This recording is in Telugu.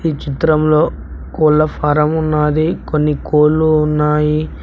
చిత్రంలో కోళ్ల ఫారం ఉన్నది కొన్ని కోళ్లు ఉన్నాయి.